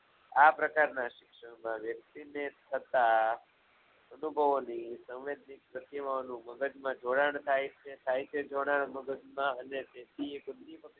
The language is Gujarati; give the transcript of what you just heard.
આ પ્રકારના શિક્ષણના વ્યક્તિને થતાં અનુભવોની શકય હોવાનું મગજમા જોડાણ થાય છે થાય છે મગજમાઅને